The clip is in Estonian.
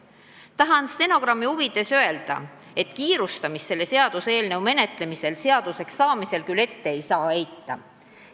Tahan stenogrammi huvides öelda, et kiirustamist selle seaduseelnõu menetlemisel küll ette ei saa heita.